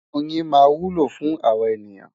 Oyin máa wúlò fún àwa ènìyàn.